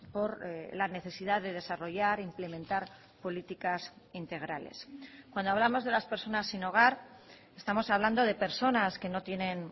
por la necesidad de desarrollar implementar políticas integrales cuando hablamos de las personas sin hogar estamos hablando de personas que no tienen